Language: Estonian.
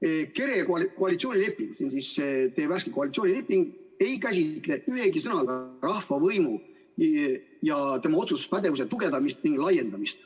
KERE koalitsioonileping, teie värske koalitsioonileping, ei käsitle ühegi sõnaga rahva võimu ja otsustuspädevuse tugevdamist ning laiendamist.